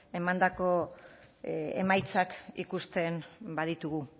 emandako emaitzak ikusten baditugu